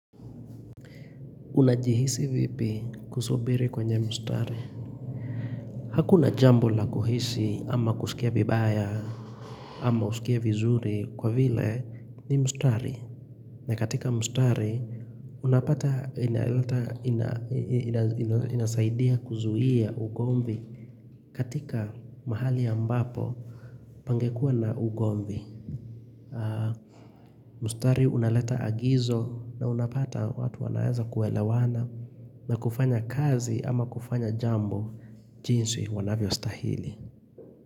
Unajihisi vipi kusubiri kwenye mstari? Hakuna jambo la kuhisi ama kusikia vibaya ama usikie vizuri kwa vile ni mstari na katika mstari unapata inaleta inasaidia kuzuia ugomvi katika mahali ambapo pangekuwa na ugomvi. Mstari unaleta agizo na unapata watu wanaeza kuelewana na kufanya kazi ama kufanya jambo jinsi wanavyostahili.